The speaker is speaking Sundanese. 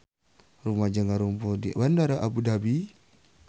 Rumaja ngarumpul di Bandara Abu Dhabi